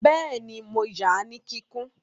Bẹ́ẹ̀ni, mo ya ní kíkún